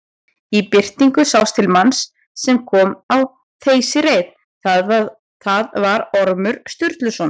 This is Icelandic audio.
Í birtingu sást til manns sem kom á þeysireið, það var Ormur Sturluson.